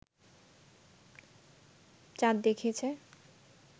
চাঁদ দেখেছি